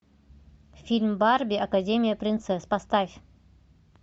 фильм барби академия принцесс поставь